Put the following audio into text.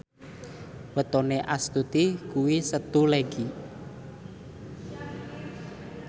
wetone Astuti kuwi Setu Legi